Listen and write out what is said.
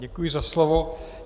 Děkuji za slovo.